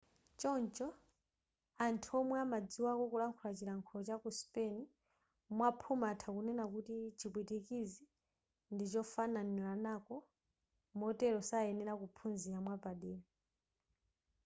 choncho anthu omwe amadziwako kulankhula chilankhulo chaku spain mwaphuma atha kunena kuti chipwitikizi ndichofananirako motere sayenera kuphunzira mwapadera